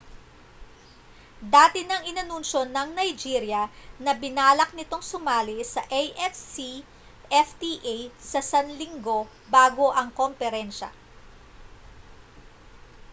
dati nang inanunsyo ng nigeria na binalak nitong sumali sa afcfta sa sanlinggo bago ang komperensya